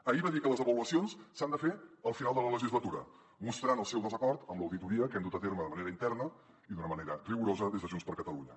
ahir va dir que les avaluacions s’han de fer al final de la legislatura mostrant el seu desacord amb l’auditoria que hem dut a terme de manera interna i d’una manera rigorosa des de junts per catalunya